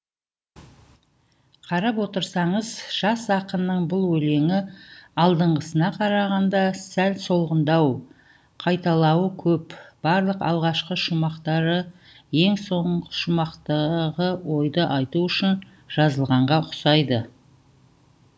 қарап отырсаңыз жас ақынның бұл өлеңі алдыңғысына қарағанда сәл солғындау қайталауы көп барлық алғашқы шумақтары ең соңғы шумақтағы ойды айту үшін жазылғанға ұқсайды